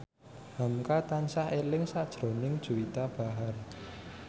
hamka tansah eling sakjroning Juwita Bahar